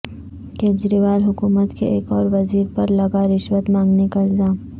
کیجریوال حکومت کے ایک اور وزیر پر لگا رشوت مانگنے کا الزام